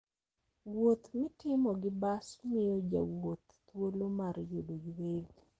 Wuoth mitimo gi bas miyo jowuoth thuolo mar yudo yueyo.